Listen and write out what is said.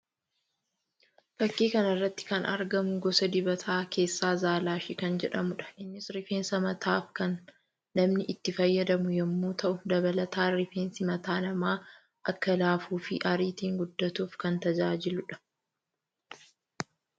Fakkii kana irratti kan argamuu gosa dibataa keessaa zalaashii kan jedhamuudha. Innis rifeensa mataaf kan namni itti fayyadamu yammuu ta'u dabaltaan rifeensi mataa namaa akka laafuu fi ariitiin guddaatuuf kan tajaajiluudha.